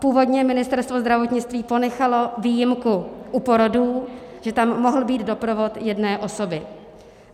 Původně Ministerstvo zdravotnictví ponechalo výjimku u porodů, že tam mohl být doprovod jedné osoby.